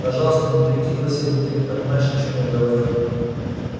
пожалуйста не прикидывайся будто не понимаешь о чём я говорю